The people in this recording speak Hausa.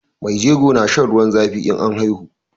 Mai jego na shan ruwan zafi in an haihu